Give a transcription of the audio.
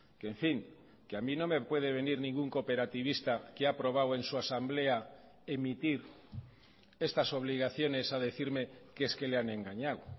que en fin que a mi no me puede venir ningún cooperativista que ha aprobado en su asamblea emitir estas obligaciones a decirme que es que le han engañado